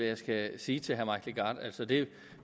jeg skal sige til herre mike legarth altså det